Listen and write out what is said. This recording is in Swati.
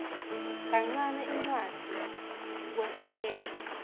kancane incwadzi kwesekela